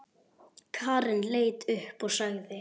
Karen leit upp og sagði